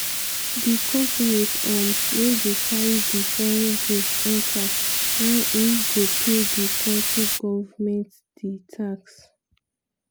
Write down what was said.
di companies um wey dey carry di foreign goods enta na im go pay di kontri goment di tax.